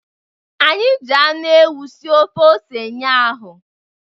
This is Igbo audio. Anyị ji anụ ewu sie ofe ose ụnyahụ.